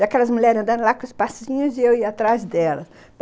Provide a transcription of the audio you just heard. E aquelas mulheres andando lá com os passinhos e eu ia atrás delas.